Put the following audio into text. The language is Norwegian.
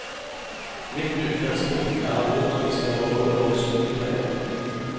Mitt utgangspunkt er hvordan vi skal beholde våre sykepleiere.